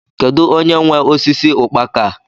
Kedụ onye nwe osisi ukpaka a?